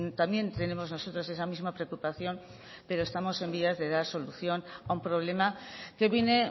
también tenemos nosotros esa misma preocupación pero estamos en vías de dar solución a un problema que viene